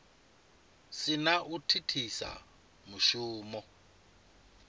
si na u thithisa mushumo